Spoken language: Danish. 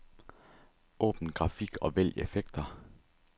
Åbn grafik og vælg effekter.